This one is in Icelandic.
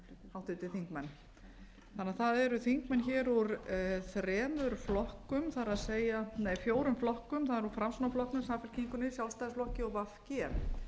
háttvirtir þingmenn þannig að það eru þingmenn hér úr þremur flokkum það er nei fjórum flokkum það er nú framsóknarflokknum samfylkingunni sjálfstæðisflokki og v g síðan